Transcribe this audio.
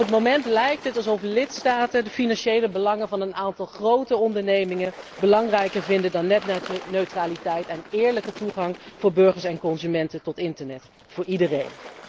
Op het moment lijkt het alsof lidstaten de financiële belangen van een aantal grote ondernemingen belangrijker vinden dan netneutraliteit en eerlijke toegang voor burgers en consumenten tot internet voor iedereen.